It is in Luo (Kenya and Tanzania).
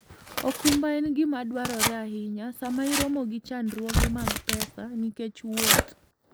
okumba en gima dwarore ahinya sama iromo gi chandruoge mag pesa nikech wuoth.